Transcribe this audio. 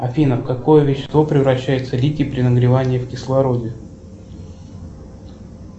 афина в какое вещество превращается литий при нагревании в кислороде